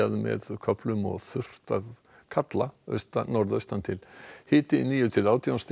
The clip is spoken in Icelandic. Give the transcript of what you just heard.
með köflum og þurrt að kalla norðaustan til hiti níu til átján stig